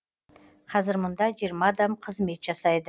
қазір мұнда жиырма адам қызмет жасайды